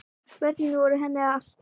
Börnin voru henni allt.